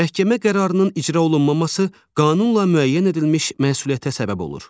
Məhkəmə qərarının icra olunmaması qanunla müəyyən edilmiş məsuliyyətə səbəb olur.